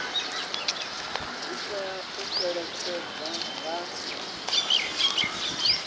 dzi tea u fhelekedzwa nga